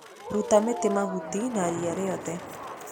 Ruta mĩtĩ, mahuti na ria rĩothe